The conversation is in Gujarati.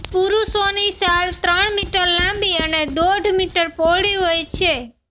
પુરુષોની શાલ ત્રણ મીટર લાંબી અને દોઢ મીટર પહોળી હોય છે